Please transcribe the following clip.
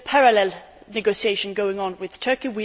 There is a parallel negotiation going on with Turkey.